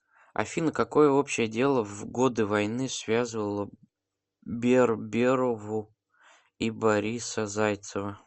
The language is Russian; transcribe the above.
афина какое общее дело в годы войны связывало берберову и бориса зайцева